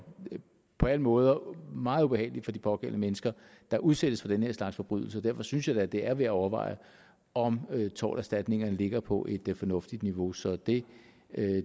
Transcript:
på alle måder meget ubehageligt for de pågældende mennesker der udsættes for den her slags forbrydelser derfor synes jeg da at det er værd at overveje om torterstatningerne ligger på et fornuftigt niveau så det